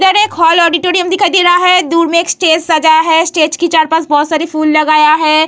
इधर एक hall auditorium दिखाई दे रहा है | दूर में एक स्टेज सजा है | स्टेज के चार पास बहुत सारे फूल लगाया है।